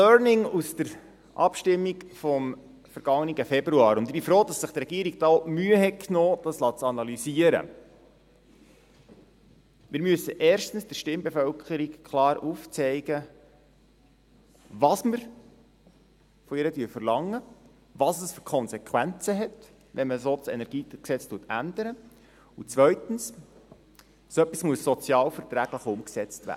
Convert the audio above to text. Ein Learning aus der Abstimmung vom vergangenen Februar, und ich bin froh, dass sich die Regierung da die Mühe genommen hat, dies analysieren zu lassen: Wir müssen erstens der Stimmbevölkerung klar aufzeigen, was wir von ihr verlangen, welche Konsequenzen es hat, wenn man das KEnG so ändert, und zweitens: So etwas muss sozialverträglich umgesetzt werden.